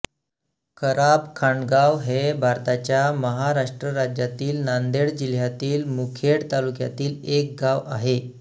खराबखांडगाव हे भारताच्या महाराष्ट्र राज्यातील नांदेड जिल्ह्यातील मुखेड तालुक्यातील एक गाव आहे